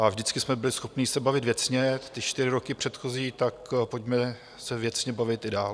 A vždycky jsme byli schopni se bavit věcně ty čtyři roky předchozí, tak pojďme se věcně bavit i dál.